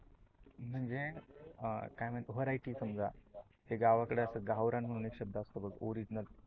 म्हणजे अह काय म्हणतो, त्याला वंरायटी समजा ते गावाकड असते गावरान म्हणून एक शब्द असतो बघ ओरीजीनल